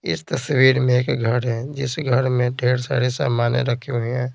इस तस्वीर में एक घर है जिस घर में ढेर सारे समाने रखे हुए हैं।